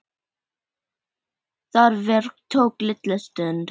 Það verk tók litla stund.